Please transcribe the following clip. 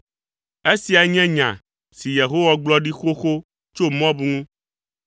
Esia nye nya si Yehowa gblɔ ɖi xoxo tso Moab ŋu.